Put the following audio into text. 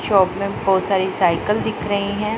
Shop में बहुत सारी साइकिल दिख रही है।